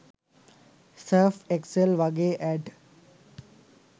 surf Excel වගෙ add